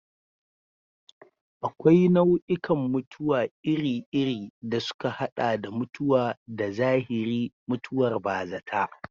Akwai nau'ikan mutuwa iri-iri, da suka haɗa da mutuwa ta zahiri, mutuwar bazata.